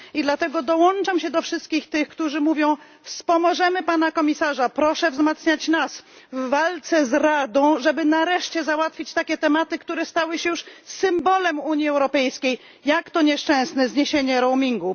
Dlatego dołączam się do wszystkich, którzy mówią wspomożemy komisarza, proszę wzmacniać nas w walce z Radą, żeby nareszcie załatwić takie tematy, które stały się już symbolem Unii Europejskiej, jak to nieszczęsne zniesienie roamingu.